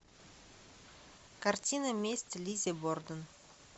картина месть лиззи борден